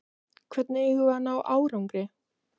Hvernig eigum við að ná árangri?